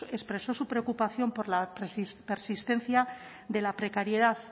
expresó su preocupación por la persistencia de la precariedad